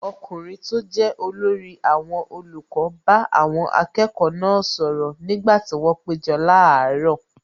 Ọkùnrin tó jẹ́ olórí àwọn olùkọ́ bá àwọn akẹ́kọ̀ọ́ náà sọ̀rọ̀ nígbà tí wọn péjọpọ̀ láàárọ̀.